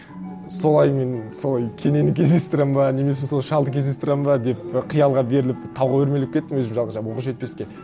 солай мен солай кенені кездестіремін бе немесе сол шалды кездестіремін бе деп қиялға беріліп тауға өрмелеп кеттім өзім жалғыз жаңағы оқжетпеске